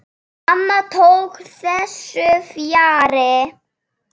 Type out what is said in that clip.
Mamma tók þessu fjarri.